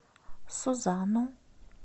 сузану